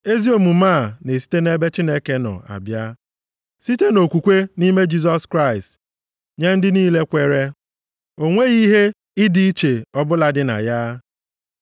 Ezi omume a na-esite nʼebe Chineke nọ abịa, site nʼokwukwe nʼime Jisọs Kraịst nye ndị niile kweere. O nweghị ihe ịdị iche ọbụla dị na ya.